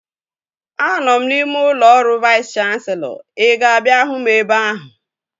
Anọ m n'ime ụlọ ọrụ Vais Kanselọ. Ị ga-abịa hụ m ebe ahụ?